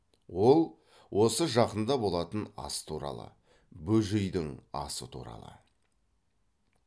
ол осы жақында болатын ас туралы бөжейдің асы туралы